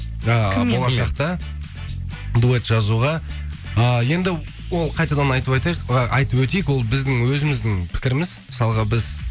ааа болашақта дуэт жазуға а енді ол қайтадан айтып айтайық айтып өтейік ол біздің өзіміздің пікіріміз мысалғы біз